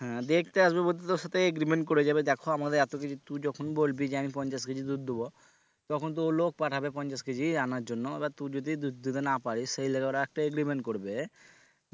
হ্যাঁ দেখতে আসবে বলতে তোর সাথে agreement করে যাবে দেখো আমাদের এত কিছু তু যখন বলবি যে আমি পঞ্চাশ কেজি দুধ দিব তখন তো ও লোক পাঠাবে পঞ্চাশ কেজি আনার জন্য এবার তু যদি দুধ দিতে না পারিস সেই লিগে ওরা একটা agreement করবে